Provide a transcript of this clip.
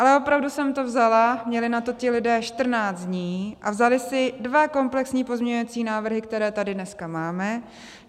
Ale opravdu jsem to vzala, měli na to ti lidé 14 dní a vzali si dva komplexní pozměňovací návrhy, které tady dneska máme.